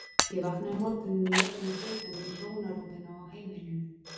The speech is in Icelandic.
Ég vaknaði um morguninn í öllum fötunum í hjónarúminu á heimilinu.